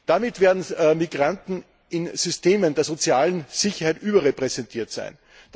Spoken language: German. Damit werden Migranten in den Systemen der sozialen Sicherheit überrepräsentiert sein.